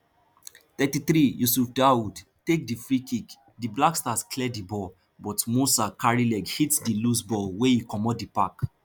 thirty-threeyusifdaoud take di freekick di blackstars clear di ball but moussah carry leg hit di lose ball wey e comot di park